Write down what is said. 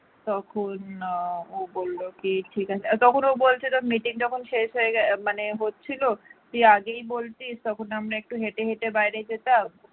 তখন আহ ও বলল কি তখন ও বলছিল meeting যখন শেষ হয়ে গেছে মানে হচ্ছিল তুই আগেই বলতিস তখন আমরা একটু হেঁটে হেঁটে বাইরে যেতাম।